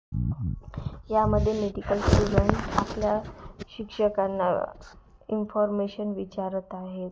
यामध्ये medical student आपल्या शिक्षकांना इन्फॉर्मेशन विचारत आहेत.